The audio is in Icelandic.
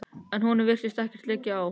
En honum virtist ekkert liggja á.